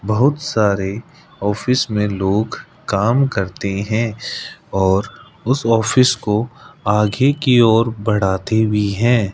बहुत सारे ऑफिस मे लोग काम करते है और उस ऑफिस को आगे की ओर बढ़ाते भी है।